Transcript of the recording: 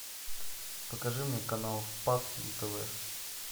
покажи мне канал спас на тв